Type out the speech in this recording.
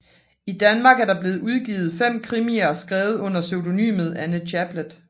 I Danmark er der blevet udgivet 5 krimier skrevet under pseudonymet Anne Chaplet